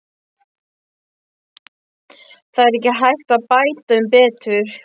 Það er ekki hægt að bæta um betur.